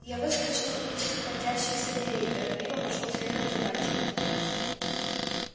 я выскочил из сходящихся дверей торопливо пошёл следом за мальчиком